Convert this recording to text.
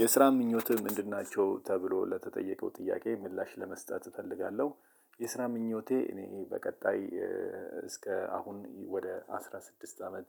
የስራ ምኞትህ ምንድናቸው? ተብሎ ለተጠየቀው ጥያቄ ምላሽ ለመስጠት እፈልጋለው። የስራ ምኞቴ እኔ በቀጣይ እስካሁን አስራ ስድስት አመት